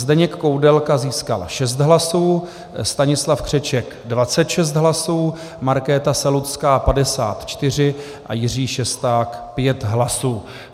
Zdeněk Koudelka získal 6 hlasů, Stanislav Křeček 26 hlasů, Markéta Selucká 54 a Jiří Šesták 5 hlasů.